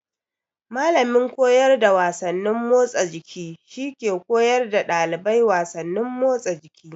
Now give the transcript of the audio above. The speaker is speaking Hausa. Mallamin koyar da wasannin motsa jiki shi ke koyar da ɗalibai wasannin motsa jiki.